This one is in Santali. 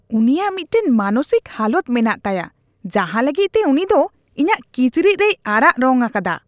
ᱩᱱᱤᱭᱟᱜ ᱢᱤᱫᱴᱟᱝ ᱢᱟᱱᱚᱥᱤᱠ ᱦᱟᱞᱚᱛ ᱢᱮᱱᱟᱜ ᱛᱟᱭᱟ ᱡᱟᱦᱟᱸ ᱞᱟᱹᱜᱤᱫ ᱛᱮ ᱩᱱᱤ ᱫᱚ ᱤᱧᱟᱜ ᱠᱤᱪᱨᱤᱡ ᱨᱮᱭ ᱟᱨᱟᱜ ᱨᱚᱝ ᱟᱠᱟᱫᱟ ᱾